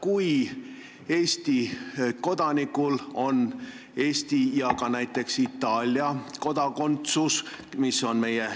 Kui Eesti kodanikul on Eesti ja näiteks ka Itaalia kodakondsus, siis pole ehk küsimust.